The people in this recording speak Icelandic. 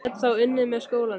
Ég get þá unnið með skólanum.